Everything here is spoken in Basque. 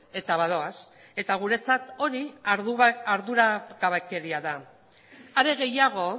eta badoaz eta guretzat hori arduragabekeria da are gehiago